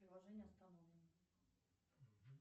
приложение остановлено